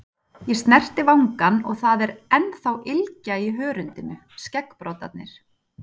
Ég snerti vangann og það er ennþá ylgja í hörundinu, skeggbroddarnir.